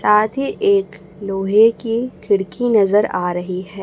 साथ ही एक लोहे की खिड़की नजर आ रही है।